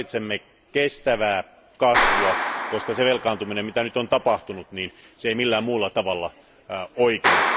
Nyt tarvitsemme kestävää kasvua, koska se velkaantuminen, jota nyt on tapahtunut, ei millään muulla tavalla oikene.